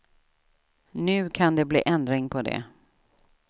Nu kan det bli ändring på det.